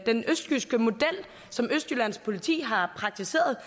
den østjyske model som østjyllands politi har praktiseret